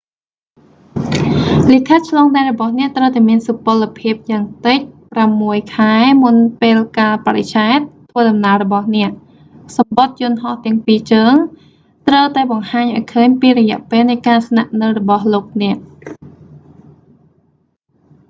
លិខិតឆ្លងដែនរបស់អ្នកត្រូវតែមានសុពលភាពយ៉ាងតិច 6 ខែ មុនពេលកាលបរិច្ឆេទធ្វើដំណើររបស់អ្នក សំបុត្រយន្តហោះទាំងពីរជើង ត្រូវតែបង្ហាញឱ្យឃើញពីរយៈពេលនៃការស្នាក់នៅរបស់លោកអ្នក